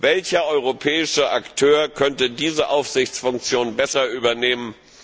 Welcher europäische Akteur könnte diese Aufsichtsfunktion besser übernehmen?